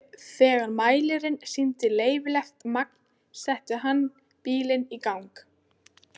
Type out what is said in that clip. Þegar mælirinn sýndi leyfilegt magn setti hann bílinn í gang.